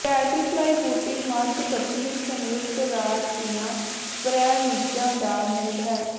ਬੈਟਰੀਫਲਾਈ ਬੂਟੀ ਮੱਧ ਪੱਛਮੀ ਸੰਯੁਕਤ ਰਾਜ ਦੀਆਂ ਪ੍ਰੈਰੀਜ਼ਾਂ ਦਾ ਮੂਲ ਹੈ